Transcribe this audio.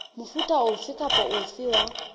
mofuta ofe kapa ofe wa